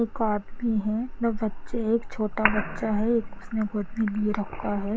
एक आदमी है दो बच्चे एक छोटा बच्चा है एक उसने गोद में लिए रखा है ।